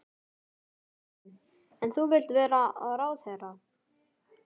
Sindri: En þú vilt vera ráðherra?